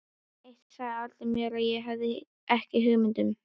Eitt sagði Alda mér sem ég hafði ekki hugmynd um.